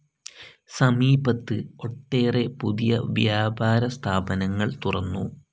സമീപത്ത് ഒട്ടേറെ പുതിയ വ്യാപാര സ്ഥാപനങ്ങൾ തുറന്നു.